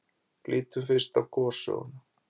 Lítum fyrst á gossöguna.